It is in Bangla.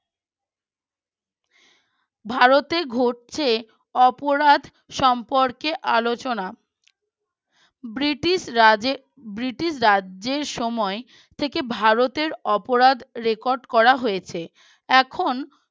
ভারতে ঘটছে অপরাধ সম্পর্কে আলোচনা ব্রিটিশ রাজ ব্রিটিশ রাজ্যের সময় থেকে ভারতের অপরাধ record করা হয়েছে এখন